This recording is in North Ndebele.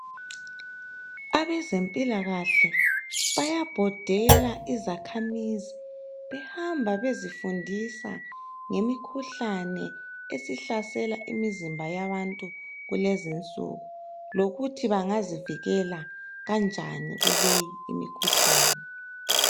Abezempilakahle bayabhodela izakhamizi .Behamba bezifundisa ngemikhuhlane esihlalsela imizimba yabantu kulezinsuku .Lokuthi bangazivikela kanjani kuleyi imikhuhlane.